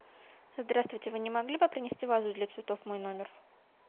здравствуйте вы не могли бы принести вазу для цветов в мой номер